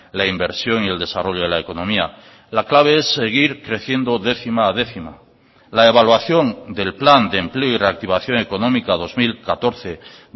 la inversión y el desarrollo de la economía la clave es seguir creciendo décima a décima la evaluación del plan de empleo y reactivación económica dos mil catorce